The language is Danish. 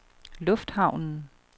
lufthavnen